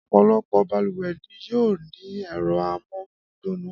Ọ̀pọ̀lọpọ̀ balùwẹ̀ ni yóò ní ẹ̀rọ amómigbóná